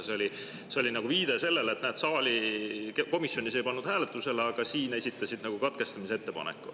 See oli viide sellele, et näed, komisjonis ei pannud hääletusele, aga siin esitasid katkestamise ettepaneku.